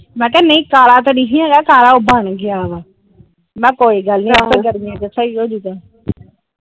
ਮੈ ਕਿਹਾ ਨਹੀਂ ਕਾਲਾ ਤਾ ਨੀ ਸੀ ਹੈਗਾ ਕਾਲਾ ਬਣ ਗਿਆ ਆ ਮੈ ਕਿਹਾ ਕੋਈ ਗੱਲ ਆਪੇ ਗਰਮੀਆਂ ਚ ਸਹੀ ਹੋਜੂਗਾ ।